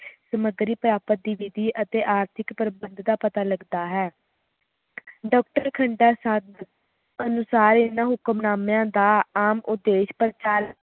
ਸਮਗਰੀ ਪ੍ਰਾਪਤ ਦੀ ਵਿਧੀ ਅਤੇ ਆਰਥਿਕ ਪ੍ਰਬੰਧ ਦਾ ਪਤਾ ਲਗਦਾ ਹੈ ਖਾਂਦਾ ਅਨੁਸਾਰ ਇਹਨਾਂ ਹੁਕਮਨਾਮਿਆਂ ਦਾ ਆਮ ਉੱਦੇਸ਼ ਪ੍ਰਕਾਸ਼